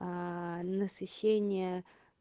насыщение